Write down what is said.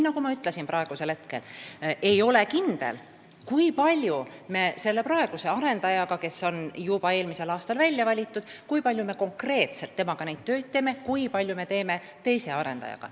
Nagu ma ütlesin, praegu ei ole kindel, kui palju me praeguse arendajaga, kes on juba eelmisel aastal välja valitud, konkreetselt töid teeme ja kui palju teeme teise arendajaga.